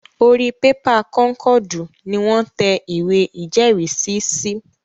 Orí pépà kọ́nkọ̀dù ni wọ́n ń tẹ ìwé ìjẹ́rìísí sí